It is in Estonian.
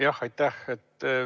Jah, aitäh!